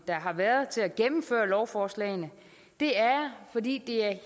der har været til at gennemføre lovforslagene det er jeg fordi det er